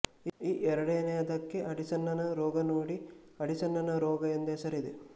ಈ ಎರಡನೆಯದಕ್ಕೆ ಅಡಿಸನ್ನನ ರೋಗ ನೋಡಿ ಅಡಿಸನ್ನನರೋಗ ಎಂಬ ಹೆಸರಿದೆ